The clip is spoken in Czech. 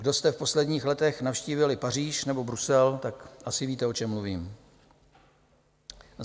Kdo jste v posledních letech navštívili Paříž nebo Brusel, tak asi víte, o čem mluvím.